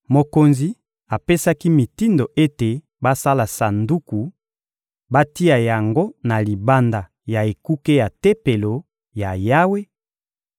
Mokonzi apesaki mitindo ete basala sanduku, batia yango na libanda ya ekuke ya Tempelo ya Yawe